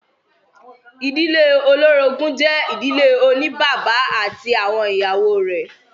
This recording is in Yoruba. Ìdílé olórogún jẹ́ ìdílé oní bàbá ati awọn ìyàwó rẹ̀.